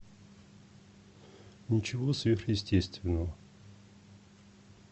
ничего сверхъестественного